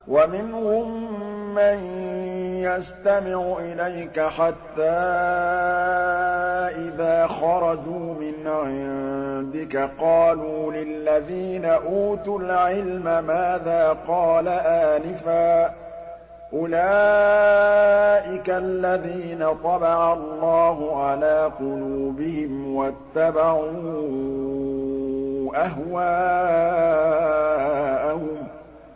وَمِنْهُم مَّن يَسْتَمِعُ إِلَيْكَ حَتَّىٰ إِذَا خَرَجُوا مِنْ عِندِكَ قَالُوا لِلَّذِينَ أُوتُوا الْعِلْمَ مَاذَا قَالَ آنِفًا ۚ أُولَٰئِكَ الَّذِينَ طَبَعَ اللَّهُ عَلَىٰ قُلُوبِهِمْ وَاتَّبَعُوا أَهْوَاءَهُمْ